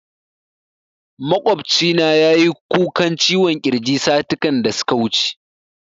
Maƙwabcina ya yi kukan ciwon kirji satikan da suka wuce